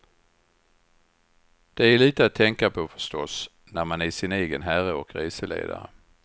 Det är lite att tänka på förstås, när man är sin egen herre och reseledare.